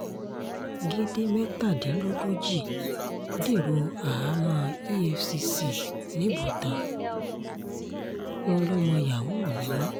gèdè mẹ́tàdínlógójì dèrò àhámọ́ efcc nìbòtán wọn lọmọ yahoo ni wọ́n